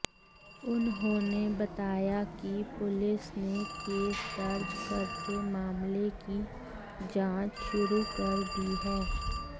उन्होंने बताया कि पुलिस ने केस दर्ज करके मामले की जांच शुरू कर दी है